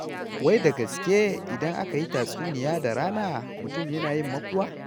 Wai da gaske idan aka yi tatsuniya da rana mutum yana yin makuwa?